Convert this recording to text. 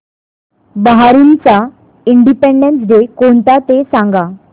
बहारीनचा independence day कोणता ते सांगा